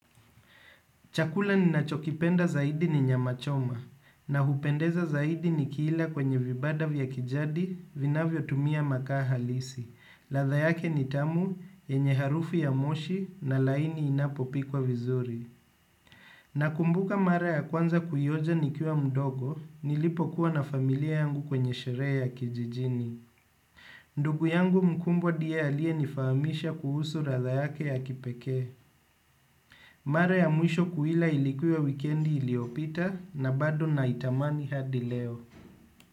Chakula ninachokipenda zaidi ni nyama choma na hupendeza zaidi nikila kwenye vibanda vya kijadi vinavyotumia makaa halisi ladha yake ni tamu yenye harufu ya moshi na laini inapopikwa vizuri nakumbuka mara ya kwanza kuionja nikiwa mdogo nilipokuwa na familia yangu kwenye sherehe ya kijijini. Ndugu yangu mkubwa ndiye aliyenifahamisha kuhusu ladha yake ya kipekee. Mara ya mwisho kuila ilikuwa wikendi iliyopita na bado naitamani hadi leo.